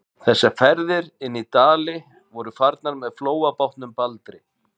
Þessar ferðir inn í Dali voru farnar með flóabátnum Baldri.